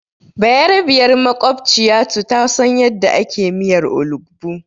Bayarabiyar maƙwabciyatu ta san yadda ake miyar olugbu.